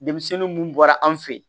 Denmisɛnnin mun bɔra an fɛ yen